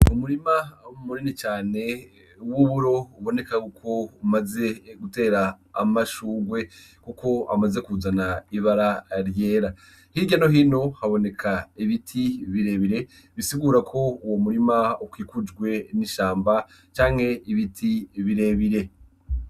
Umurima munini cane w’uburo uboneka yuko umaze gutera amashurwe, Kuko amaze kuzana ibara ryera. Hirya no hino haboneka ibiti birebire , bisigura ko Uwo murima ukikujwe n’ishamba canke ibiti birebire.